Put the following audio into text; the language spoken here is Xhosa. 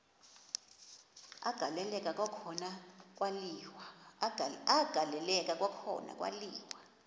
agaleleka kwakhona kwaliwa